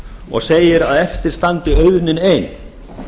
og segir að eftir standi auðnin ein